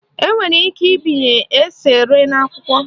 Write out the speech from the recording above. Enwere ike ibinye eserese n'ákwà